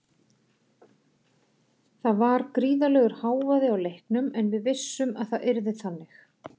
Það var gríðarlegur hávaði á leiknum en við vissum að það yrði þannig.